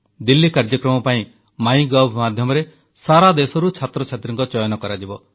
ଦିଲ୍ଲୀ କାର୍ଯ୍ୟକ୍ରମ ପାଇଁ MyGov ମାଧ୍ୟମରେ ସାରାଦେଶରୁ ଛାତ୍ରଛାତ୍ରୀଙ୍କ ଚୟନ କରାଯିବ